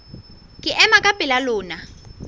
ke ema ka pela lona